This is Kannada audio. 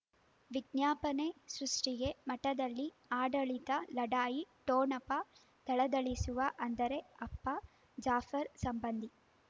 ವಿಜ್ಞಾಪನೆ ಸೃಷ್ಟಿಗೆ ಮಠದಲ್ಲಿ ಆಡಳಿತ ಲಢಾಯಿ ಠೊಣಪ ಥಳಥಳಿಸುವ ಅಂದರೆ ಅಪ್ಪ ಜಾಫರ್ ಸಂಬಂಧಿ